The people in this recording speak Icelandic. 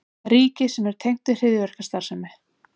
Ríki sem er tengt við hryðjuverkastarfsemi